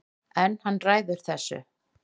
En hann ræður þessu